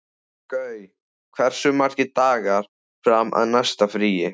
Gaui, hversu margir dagar fram að næsta fríi?